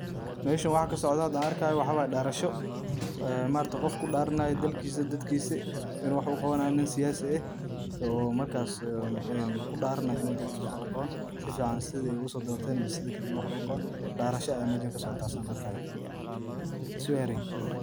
Meshaan waxaa kasocdo o xadaa aan arkayo waa darasho, ee maaragtaa qof kudaranayo dalkisa iyo dadkisa, inu wax u qawanayo nin siyasi eh, o markaas kudaranay inu dalkis wax uqawanayo sifican sithi usodorteen mase sithaa kale inu wax ogu qawaan, darasho aya meshaan kasocotaa saan arkayo swearing.